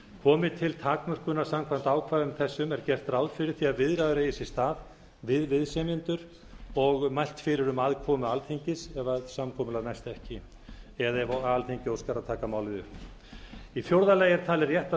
komi til takmörkunar samkvæmt ákvæðum þessum er gert ráð fyrir því að viðræður eigi sér stað við viðsemjendur og mælt fyrir um aðkomu alþingis ef samkomulag næst ekki eða ef alþingi óskar að taka málið upp í fjórða lagi er talið rétt að